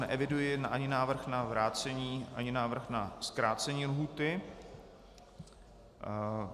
Neeviduji ani návrh na vrácení ani návrh na zkrácení lhůty.